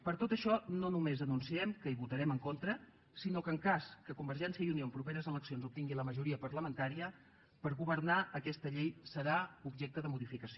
per tot això no només anunciem que hi votarem en contra sinó que en cas que convergència i unió en properes eleccions obtingui al majoria parlamentària per governar aquesta llei serà objecte de modificació